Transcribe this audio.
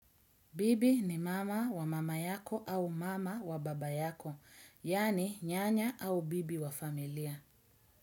Bibi ni mama wa mama yako au mama wa baba yako, yaani nyanya au bibi wa familia.